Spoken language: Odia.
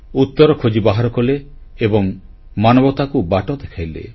ଉତ୍ତର ଖୋଜି ବାହାର କଲେ ଏବଂ ମାନବତାକୁ ବାଟ ଦେଖାଇଲେ